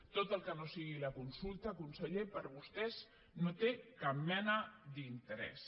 tot el que no sigui la consulta conseller per a vostès no té cap mena d’interès